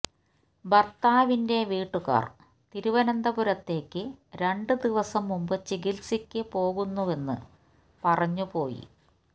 ഭര്ത്താവിന്റെ വീട്ടുകാര് തിരുവനന്തപുരത്തേക്ക് രണ്ട് ദിവസം മുമ്പ് ചികിത്സക്ക് പോകുന്നുവെന്ന് പറഞ്ഞ് പോയി